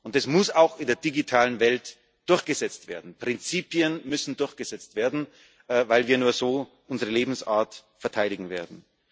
Das muss auch in der digitalen Welt durchgesetzt werden, Prinzipien müssen durchgesetzt werden, weil wir nur so unsere Lebensart verteidigen werden.